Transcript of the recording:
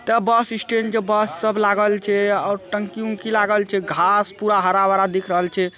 ता bus stand जे bus सब लागल छे और टंकी उनकी लागल छे आ घास पूरा हरा भरा दिखरल छे।